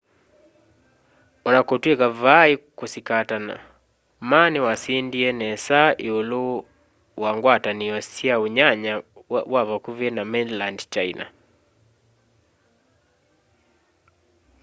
ona kutw'ika vai kusikatana ma niwasindie nesa iulu wa ngwatanio sya unyanya wa vakuvi na mainland china